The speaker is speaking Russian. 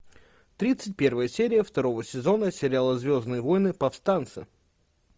тридцать первая серия второго сезона сериала звездные войны повстанцы